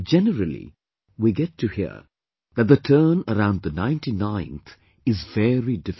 Generally, we get to hear that the turn around the ninetyninth 99th is very difficult